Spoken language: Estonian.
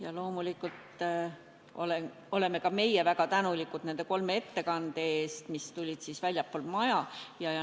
Jah, loomulikult oleme ka meie väga tänulikud nende kolme ettekande eest, mis tulid väljastpoolt maja.